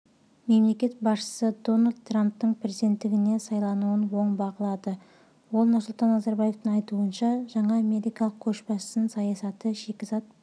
мемлекет басшысы дональд трамптың президентігіне сайлануын оң бағалады нұрсұлтан назарбаевың айтуынша жаңа америкалық көшбасшының саясаты шикізат